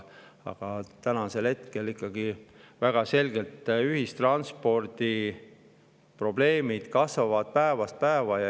Aga hetkel kasvavad ühistranspordi probleemid väga selgelt päevast päeva.